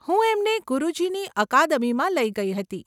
હું એમને ગુરુજીની અકાદમીમાં લઇ ગઇ હતી.